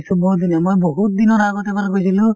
বহুত ধুনীয়া মই বহুত দিনৰ আগতে এবাৰ গৈছিলো